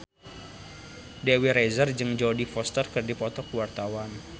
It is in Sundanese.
Dewi Rezer jeung Jodie Foster keur dipoto ku wartawan